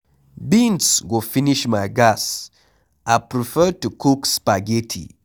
Beans go finish my gas I prefer to cook spaghetti